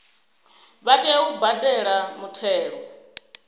vha tea u badela muthelo